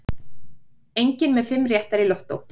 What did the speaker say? Enginn með fimm réttar í lottó